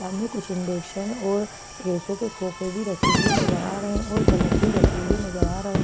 सामने कुछ और पैसों के खोपे भी रखे हुए नजर आ रहे है और बलाब भी रखे हुए नजर आ रहे है ।